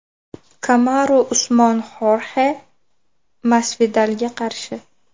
Kamaru Usmon Xorxe Masvidalga qarshi.